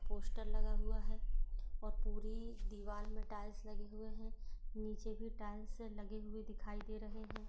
Poster लगा हुआ है और पूरी दीवाल में टाइल्स लगे हुए हैं। नीचे भी टाइल्स लगी हुई दिखाई दे रहे हैं।